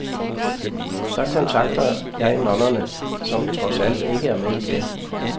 Så kontakter jeg nonnerne, som trods alt ikke er med i den.